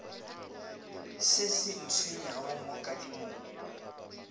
se se ntshwenyago mo kadimong